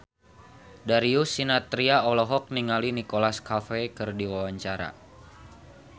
Darius Sinathrya olohok ningali Nicholas Cafe keur diwawancara